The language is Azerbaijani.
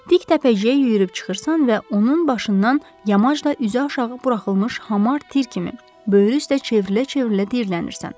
Dik təpəciyə yüyürüb çıxırsan və onun başından yamaz da üzü aşağı buraxılmış hamar tir kimi böyrü üstə çevrilə-çevrilə diyirlənirsən.